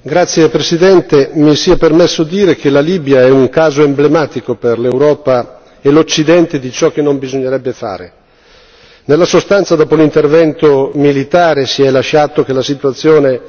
Signor Presidente, onorevoli colleghi, mi sia permesso dire che la Libia è un caso emblematico per l'Europa e l'Occidente di ciò che non bisognerebbe fare. Nella sostanza, dopo l'intervento militare si è lasciato che la situazione